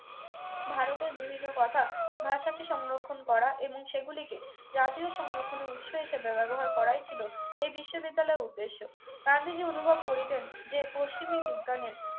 ভারতের বিভিন্ন কথা ভাষাকে সংরক্ষণ করা এবং সেগুলিকে জাতীয় সংরক্ষণের উৎস হিসেবে ব্যবহার করাই ছিল এই বিশ্ববিদ্যালয়ের উদ্দেশ্য গান্ধীজি অনুভব করিতেন যে পশ্চিমি বিজ্ঞানের